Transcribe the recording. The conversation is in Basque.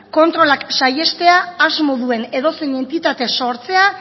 kontrolak saihestea asmo duen edozein entitate sortzea